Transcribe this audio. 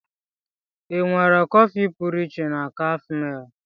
Ị nwara kọfị pụrụ iche na cafe mall?